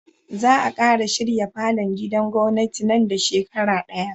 Za a kara shirya falon gidan gwamnati nan da shekara daya